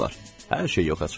Hər şey yoxa çıxdı.